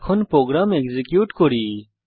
এখন program execute করি